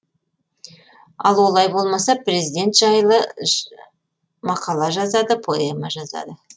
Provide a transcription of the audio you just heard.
ал олай болмаса президент жайлы мақала жазады поэма жазады